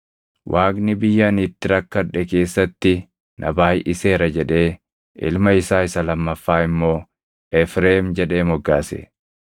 “Waaqni biyya ani itti rakkadhe keessatti na baayʼiseera” jedhee ilma isaa isa lammaffaa immoo Efreem jedhee moggaase.